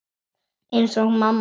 Eins og mamma þín.